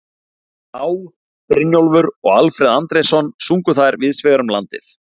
Á., Brynjólfur og Alfreð Andrésson sungu þær víðs vegar um landið.